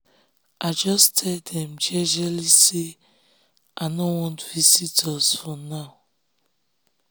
i jus tell dem jejely say i nor want visitors for now